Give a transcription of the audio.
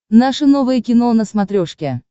наше новое кино на смотрешке